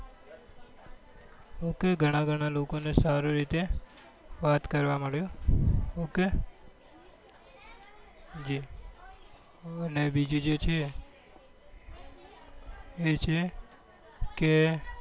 બ ok ગણા ગણા લોકો ને સારી રીતે વાત કરવા માટે ok જી અને બીજું જે છે એ છે કે